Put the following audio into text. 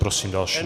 Prosím další.